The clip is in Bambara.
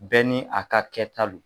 Bɛɛ ni a ka kɛta lo.